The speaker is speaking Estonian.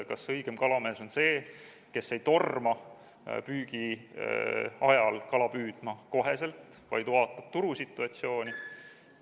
Kas õigem kalamees on see, kes ei torma püügi ajal kohe kala püüdma, vaid vaatab turusituatsiooni?